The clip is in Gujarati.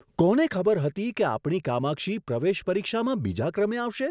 કોને ખબર હતી કે આપણી કામાક્ષી પ્રવેશ પરીક્ષામાં બીજા ક્રમે આવશે?